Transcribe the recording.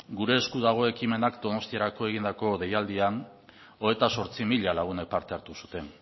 gure esku dago ekimenak donostiarako egindako deialdian hogeita zortzi mila lagunek parte hartu zuten